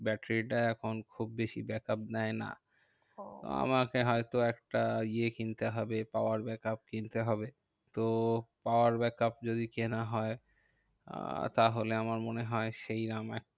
ব্যাটারিটা এখন খুব বেশি back up দেয় না। ওহ আমাকে হয়তো একটা ইয়ে কিনতে হবে power back up কিনতে হবে। তো power back up যদি কেনা হয়, আহ তাহলে আমার মনে হয় সেই আমার